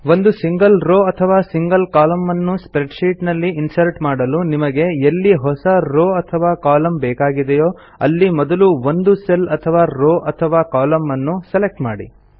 ಒಂದು single row ಅಥವಾ single ಕಾಲಮ್ನ ಅನ್ನು ಸ್ಪ್ರೆಡ್ಶೀಟ್ ನಲ್ಲಿ ಇನ್ಸರ್ಟ್ ಮಾಡಲು ನಿಮಗೆ ಎಲ್ಲಿ ಹೊಸ ರೋವ್ ಅಥವಾ ಕಾಲಮ್ನ ಬೇಕಾಗಿದೆಯೋ ಅಲ್ಲಿ ಮೊದಲು ಒಂದು ಸೆಲ್ ಅಥವಾ ರೋವ್ ಅಥವಾ ಕಾಲಮ್ನ ನ್ನು ಸೆಲೆಕ್ಟ್ ಮಾಡಿ